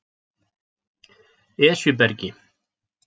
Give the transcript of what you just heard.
Esjubergi